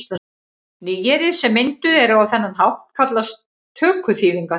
Nýyrði sem mynduð eru á þennan hátt kallast tökuþýðingar.